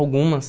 Algumas.